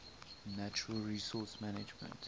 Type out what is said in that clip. natural resource management